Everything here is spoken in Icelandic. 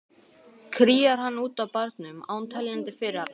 Kríar hann út á barnum án teljandi fyrirhafnar.